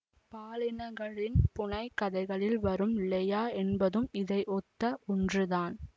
பாலினிக்களின் புனை கதைகளில் வரும் லெயா என்பதும் இதை ஒத்த ஒன்றுதான்